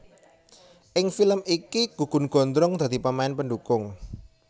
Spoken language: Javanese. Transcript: Ing film iki Gugun Gondrong dadi pemain pendukung